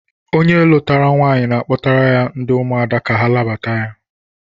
Onye lụtara nwaanyị na-akpọtara ya ndị ụmụada ka ha nabata ya